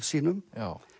sínum